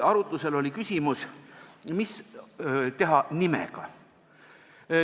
Arutlusel oli küsimus, mis teha nimega.